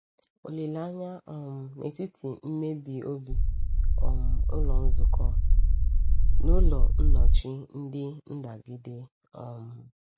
Olileanya um N’etiti Mmebi Obi — um Ụlọ Nzukọ n’Ụlọ Nọchie Ndị Ndagide. um